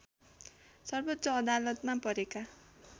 सर्वोच्च अदालतमा परेका